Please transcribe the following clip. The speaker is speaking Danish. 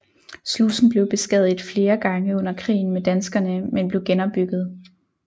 Slusen blev beskadiget flere gange under krigen med danskerne men blev genopbygget